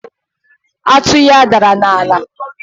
atụ ya dara n'ala